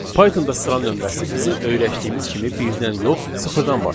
Pythonda sıra nömrəsi bizim öyrəşdiyimiz kimi birdən yox, sıfırdan başlayır.